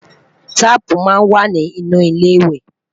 taààpu má n wà nì inú ilé iwe